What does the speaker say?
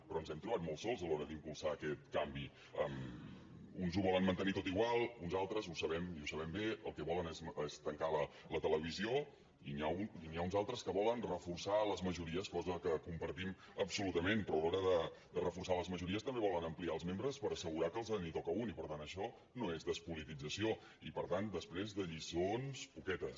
però ens hem trobat molt sols a l’hora d’impulsar aquest canvi uns ho volen mantenir tot igual uns altres ho sabem i ho sabem bé el que volen és tancar la televisió i n’hi ha uns altres que volen reforçar les majories cosa que compartim absolutament però a l’hora de reforçar les majories també volen ampliar els membres per assegurar que els en toca un i per tant això no és despolitització i per tant després de lliçons poquetes